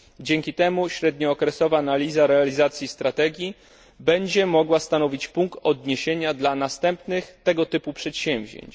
Dzięki temu średniookresowa analiza realizacji strategii będzie mogła stanowić punkt odniesienia dla następnych tego typu przedsięwzięć.